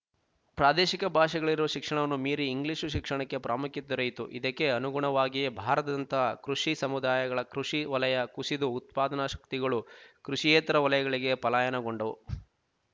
ಪ್ರಾದೇಶಿಕ ಭಾಷೆಗಳಲ್ಲಿರುವ ಶಿಕ್ಷಣವನ್ನು ಮೀರಿ ಇಂಗ್ಲೀಷು ಶಿಕ್ಷಣಕ್ಕೆ ಪ್ರಾಮುಖ್ಯ ದೊರೆಯಿತು ಇದಕ್ಕೆ ಅನುಗುಣವಾಗಿಯೇ ಭಾರತದಂತಹ ಕೃಷಿ ಸಮುದಾಯಗಳ ಕೃಷಿ ವಲಯ ಕುಸಿದು ಉತ್ಪಾದನಾ ಶಕ್ತಿಗಳು ಕೃಶಿಯೇತರ ವಲಯಗಳಿಗೆ ಪಲಾಯನಗೊಂಡವು